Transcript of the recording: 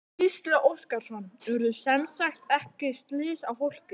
Gísli Óskarsson: Urðu semsagt ekki slys á fólki?